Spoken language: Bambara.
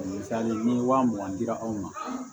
Misali ni wa mugan dira anw ma